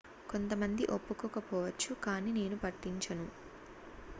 """""""కొంతమంది ఒప్పుకోకపోవచ్చు కానీ నేను పట్టించను.""